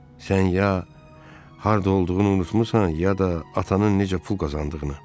Sən ya harda olduğunu unutmusan, ya da atanın necə pul qazandığını.